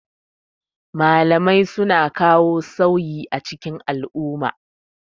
Malamai suna ka wo sauyi a cikin al'umma.